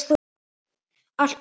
Allt gott.